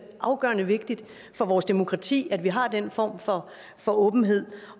afgørende vigtigt for vores demokrati at vi har den form for åbenhed